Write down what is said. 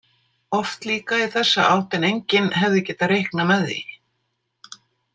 Oft líka í þessa átt en enginn hefði getað reiknað með því.